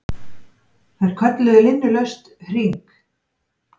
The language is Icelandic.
Þær kölluðu linnulaust HRING!